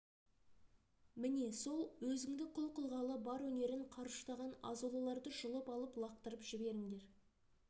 міне сол өзіңді құл қылғалы бар өнерін қарыштаған азулыларды жұлып алып лақтырып жіберіңдер